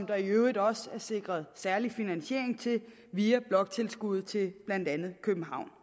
der i øvrigt også sikret særlig finansiering til via bloktilskuddet til blandt andet københavn